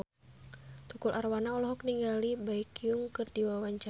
Tukul Arwana olohok ningali Baekhyun keur diwawancara